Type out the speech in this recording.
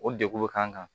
O degu bɛ k'an kan